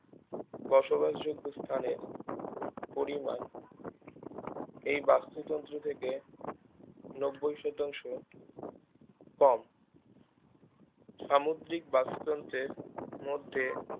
বসবাস যোগ্য স্থানের পরিমান এই বাস্তুতন্ত্র থেকে নব্বই শতাংশ কম সামুদ্রিক বাস্তুতন্ত্রের মধ্যে